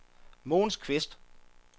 Mogens Kvist